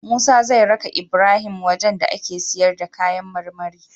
Musa zai raka Ibrahim wajan da ake siyar da kayan marmari